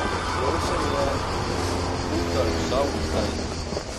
Zdelo se mi je, kot da je vsa ulita iz nje.